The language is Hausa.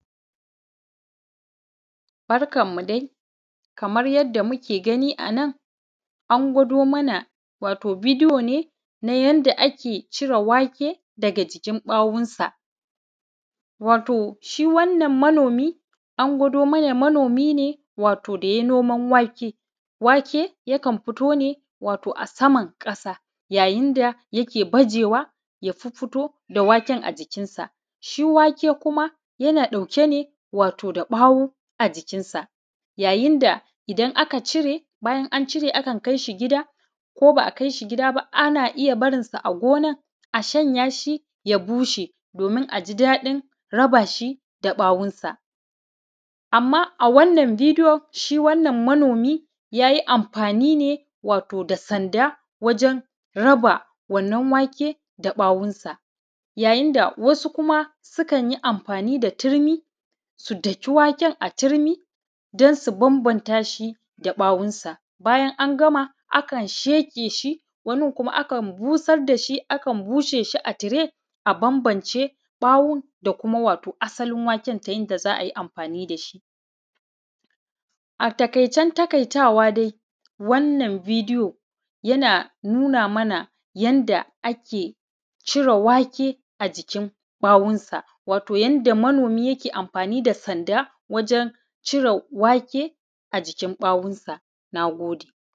Barkanmu dai kamar yadda muke gani a nan wato an gwado mana ne yadda ake cire wake ga jikin ɓawonsa. Shi wannan manomi an gwado mana manomi ne to da ya yi noman wake, waje yakan fito ne a saman ƙasa yayin da yakan baje wa ya fiffito da waken a jikinsa. Shi wake kuma yana ɗauke ne da ɓawo a jikinsa yayin da idan aka cire, bayan an cire akan shi gida ko ba a kai shi gida ba akan bar shi a gonan a shanya shi ya bushe domin a ji daɗin raba shi da 'ya'yansa. A wannan bidiyo shi wannan manomi ya yi amfani da sanda wajen raba wannan wake da 'ya'yansa wasu kuma sukan yi amfani da turmi su daki wake a turmi don su bambanta shi da 'ya'yansa. Bayan an gama akan sheƙe shi wanin kuma akan busar da shi a ture a bambance ɓawon da kuma wato asalin waken da aka yin amfani da shi. A taƙaicen taƙaitawa dai wannan bidiyo yana nuna mana yadda ake cire wake a jikin wakensa yadda manomi ke amfani da sanda wajen cire wake a jikin ɓawonsa. Na gode.